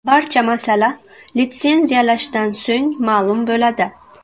Barcha masala litsenziyalashdan so‘ng ma’lum bo‘ladi.